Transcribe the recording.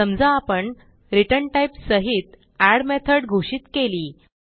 समजा आपण return type सहित एड मेथड घोषित केली